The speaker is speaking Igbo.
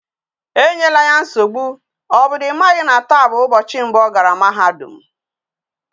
Enyela ya nsogbu! o bu na imaghi na taa bu ubochi mbu ogara mahadum